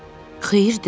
Xeyir de.